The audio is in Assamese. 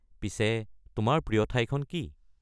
পিছে, তোমাৰ প্ৰিয় ঠাইখন কি?